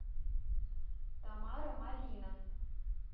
тамара малина